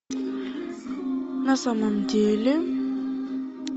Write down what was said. на самом деле